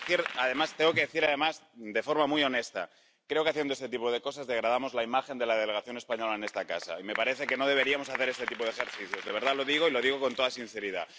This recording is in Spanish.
Tengo que decir, además, de forma muy honesta, que creo que, haciendo este tipo de cosas, degradamos la imagen de la delegación española en esta casa, y me parece que no deberíamos hacer este tipo de ejercicios —de verdad lo digo y lo digo con toda sinceridad—.